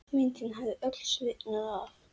Myndin hafði öll sviðnað af.